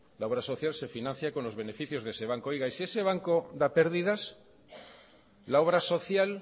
la obra social se financia con los beneficios de ese banco oiga y si ese banco da pérdidas la obra social